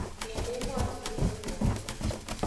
En emotunweg kwog.